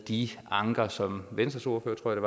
de anker som venstres ordfører tror jeg